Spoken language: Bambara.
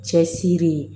Cɛsiri